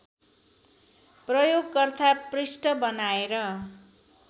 प्रयोगकर्ता पृष्ठ बनाएर